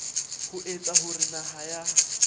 ho etsa hore naha ya